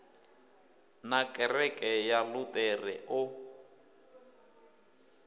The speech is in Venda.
na kereke ya luṱere o